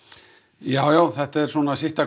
já já þetta er svona sitt af